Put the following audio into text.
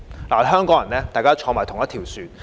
作為香港人，大家同坐一條船。